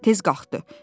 Tez qalxdı.